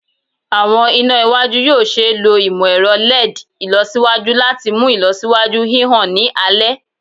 Awọn ina iwaju yoo ṣee lo imọ-ẹrọ LED ilọsiwaju lati mu ilọsiwaju hihan ni alẹ